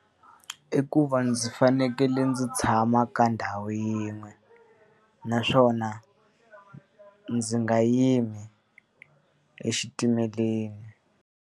i ku va ndzi fanekele ndzi tshama ka ndhawu yin'we, naswona ndzi nga yimi exitimeleni.